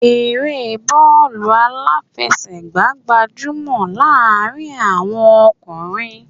Eré bọọlu aláfẹsẹ̀gá gbajúmò láàrin àwọn ọkùnrin